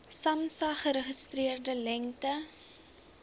samsa geregistreerde lengte